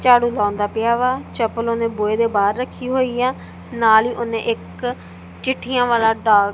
ਝਾੜੂ ਲਾਉਂਦਾ ਪਿਆ ਵਾ ਚੱਪਲ ਉਹਨੇ ਬੂਹੇ ਦੇ ਬਾਹਰ ਰੱਖੀ ਹੋਈ ਐ ਨਾਲ ਹੀ ਉਹਨੇ ਇੱਕ ਚਿੱਠੀਆਂ ਵਾਲਾ ਡਾਕ--